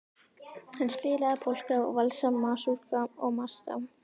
Hann spilaði polka og valsa, masúrka og marsa.